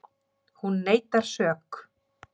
Hún neitar sök